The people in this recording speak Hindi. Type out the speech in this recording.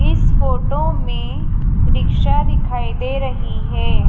इस फोटो में रिक्शा दिखाई दे रही है।